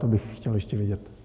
To bych chtěl ještě vědět.